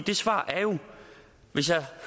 det svar er jo hvis jeg